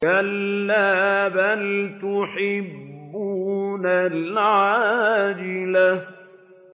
كَلَّا بَلْ تُحِبُّونَ الْعَاجِلَةَ